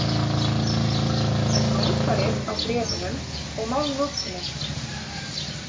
En málfarið á bréfunum og málnotkunin?